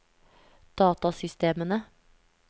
datasystemene